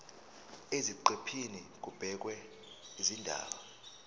eziqephini kubhekwe izindaba